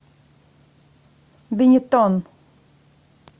бенетон